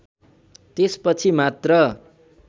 त्यसपछि मात्र